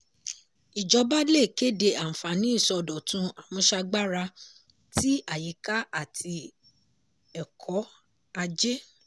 ìjọba le kéde àǹfàní ìsọdọ̀tun àmúṣagbára tì àyíká àti ẹkọ̀ ajé.